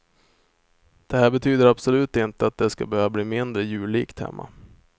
Det här betyder absolut inte att det ska behöva bli mindre jullikt hemma.